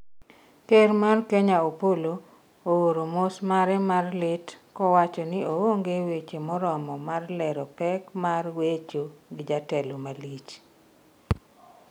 Ker mar Kenya Opollo oor mos mare mar lit kowacho ni oonge weche moromo mar lero pek mar wecho gi jatelo malich